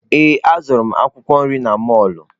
Ee, azụrụ m akwụkwọ nri n'mọlụ.